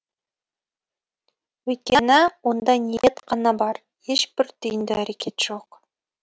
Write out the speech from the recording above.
өйткені онда ниет қана бар ешбір түйінді әрекет жоқ